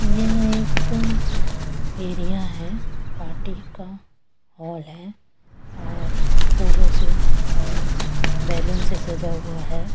ये एक एरिया है पार्टी का हॉल है और फूलों से और बैलून से सजा हुआ है।